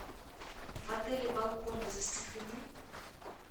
в отеле балконы застеклены